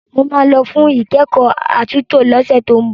Mo máa lọ fún ìkẹ́kọ̀ọ́ àtúntò lọ́sẹ̀ tó ń bọ̀.